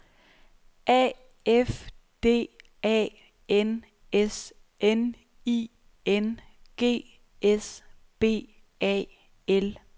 A F D A N S N I N G S B A L